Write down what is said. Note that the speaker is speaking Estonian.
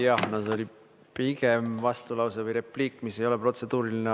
Jah, no see oli pigem vastulause või repliik, mis ei ole protseduuriline.